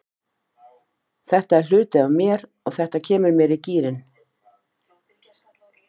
Þetta er hluti af mér og þetta kemur mér í gírinn.